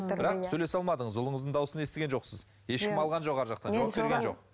бірақ сөйлесе алмадыңыз ұлыңыздың дауысын естіген жоқсыз ешкім алған жоқ арғы жақта